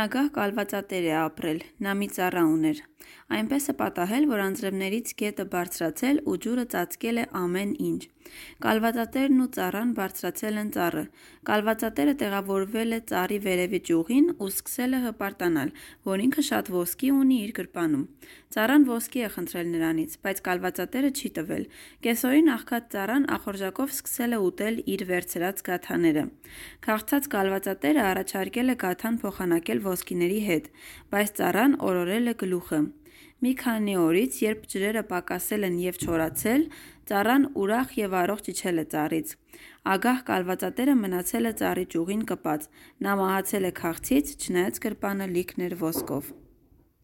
ագահ կալվածատեր է ապրել: Նա մի ծառա ուներ: Այնպես է պատահել, որ անձրևներից գետը բարձրացել ու ջուրը ծածկել է ամեն ինչ: Կալվածատերն ու ծառան բարձրացել են ծառը: Կալվածատերը տեղավորվել է ծառի վերևի ճյուղին ու սկսել է հպարտանալ, որ ինքը շատ ոսկի ունի իր գրպանում: Ծառան ոսկի է խնդրել նրանից, բայց կալվածատերը չի տվել: Կեսօրին աղքատ ծառան ախորժակով սկսել է, ուտել իր վերցրած գաթաները: Քաղցած կալվածատերը առաջարկել է գաթան փոխանակել ոսկիների հետ, բայց ծառան օրորել է գլուխը: Մի քանի օրից, երբ ջրերը պակասել են և չորացել, ծառան ուրախ և առողջ իջել է ծառից: Ագահ կալվածատերը մնացել է ծառի ճյուղին կպած: Նա մահացել է քաղցից, չնայած գրպանը լիքն էր ոսկով: